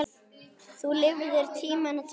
Þú lifðir tímana tvenna.